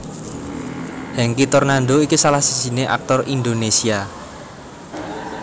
Hengky Tornando iku salah sijiné aktor Indonesia